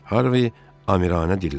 Harvi Amirə Dilləndi.